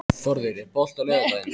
Þórður, er bolti á laugardaginn?